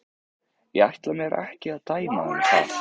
Ég ætla mér ekki að dæma um það.